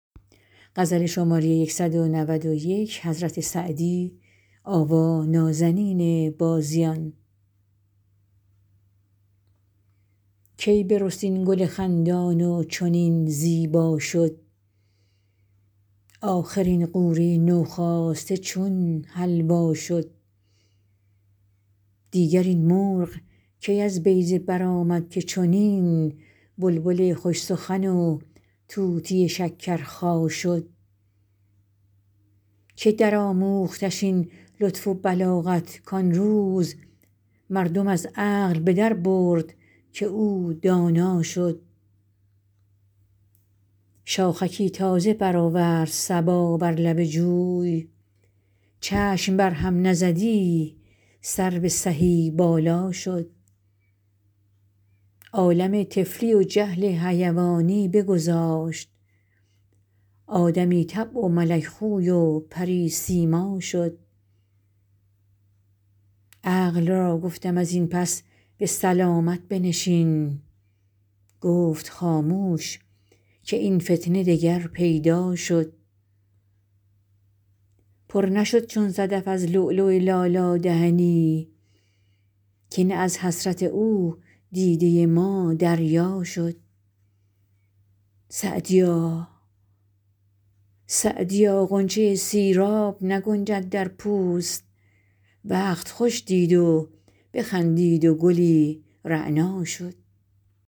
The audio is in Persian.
کی برست این گل خندان و چنین زیبا شد آخر این غوره نوخاسته چون حلوا شد دیگر این مرغ کی از بیضه برآمد که چنین بلبل خوش سخن و طوطی شکرخا شد که درآموختش این لطف و بلاغت کان روز مردم از عقل به دربرد که او دانا شد شاخکی تازه برآورد صبا بر لب جوی چشم بر هم نزدی سرو سهی بالا شد عالم طفلی و جهل حیوانی بگذاشت آدمی طبع و ملک خوی و پری سیما شد عقل را گفتم از این پس به سلامت بنشین گفت خاموش که این فتنه دگر پیدا شد پر نشد چون صدف از لؤلؤ لالا دهنی که نه از حسرت او دیده ما دریا شد سعدیا غنچه سیراب نگنجد در پوست وقت خوش دید و بخندید و گلی رعنا شد